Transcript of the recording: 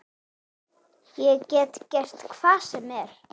Ég get gert það hvar sem er.